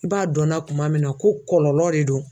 I b'a dɔnna kuma min na ko kɔlɔlɔ de do